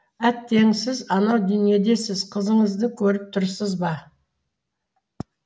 әттең сіз анау дүниедесіз қызыңызды көріп тұрсыз ба